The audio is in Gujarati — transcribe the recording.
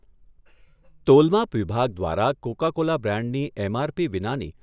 તોલમાપ વિભાગ દ્વારા કોકા કોલા બ્રાન્ડની એમઆરપી વિનાની